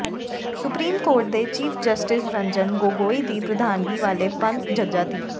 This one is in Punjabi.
ਸੁਪਰੀਮ ਕੋਰਟ ਦੇ ਚੀਫ ਜਸਟਿਸ ਰੰਜਨ ਗੋਗੋਈ ਦੀ ਪ੍ਰਧਾਨਗੀ ਵਾਲੇ ਪੰਜ ਜੱਜਾ ਦੀ